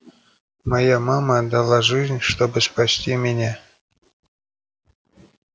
моя мама отдала жизнь чтобы спасти меня